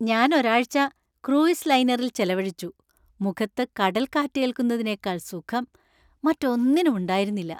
ഞാൻ ഒരാഴ്ച ക്രൂയിസ് ലൈനറിൽ ചെലവഴിച്ചു, മുഖത്ത് കടൽ കാറ്റേല്‍ക്കുന്നതിനേക്കാൾ സുഖം മറ്റൊന്നിനും ഉണ്ടായിരുന്നില്ല.